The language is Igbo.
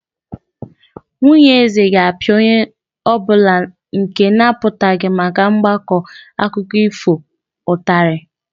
Nwunye eze ga-apịa onye ọ bụla nke na-apụtaghị maka mgbakọ akụkọ ifo ụtarị.